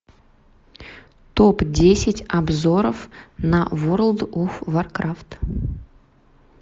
топ десять обзоров на ворлд оф варкрафт